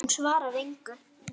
Hún svarar engu.